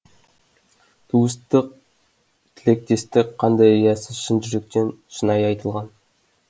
туыстық тілектестік қандай риясыз шын жүректен шынайы айтылған